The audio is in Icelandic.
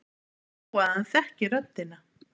Þó að hann þekki röddina.